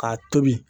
K'a tobi